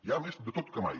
hi ha més de tot que mai